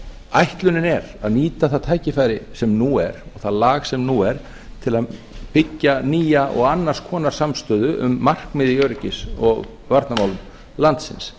ætlunin er að nýta það tækifæri sem nú er það lag sem nú er til að byggja nýja og annars konar samstöðu um markmið í öryggis og varnarmálum landsins